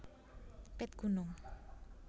Pit Gunung